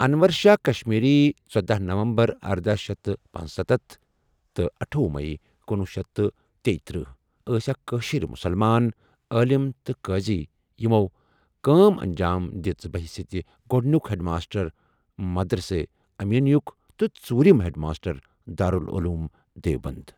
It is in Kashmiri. اَنور شاہِ کَشمیٖری ژٔداہ نَوَمبَر ارداہ شیتھ تہٕ پنژستتھ اَٹھۄہُ میٔی کنۄہ شیتھ تیٖتٔرہ ، ٲس اَکھ کٲشِر مُسلمان عٲلم تہٕ قٲضی یِمو کٲم انجام دِژ بَہ حیثیتِہ گۄڈٕنِیک ہیٚڈماسٹر مَدرسَی اَمیٖنیُک تہٕ ژوٗرِم ہیڈماسٹر دارُالعلوم دیوبَند۔